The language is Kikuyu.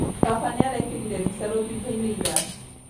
Baba nĩarekĩrire mbica rũthingo-inĩ ira